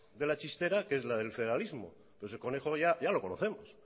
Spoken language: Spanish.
de la chistera que es la de el federalismo pero ese conejo ya lo conocemos